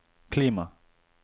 klima